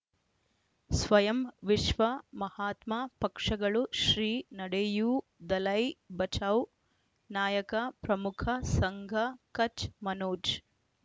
ಸ್ವಯಂ ವಿಶ್ವ ಮಹಾತ್ಮ ಪಕ್ಷಗಳು ಶ್ರೀ ನಡೆಯೂ ದಲೈ ಬಚೌ ನಾಯಕ ಪ್ರಮುಖ ಸಂಘ ಕಚ್ ಮನೋಜ್